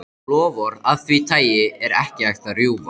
Loforð af því tagi er ekki hægt að rjúfa.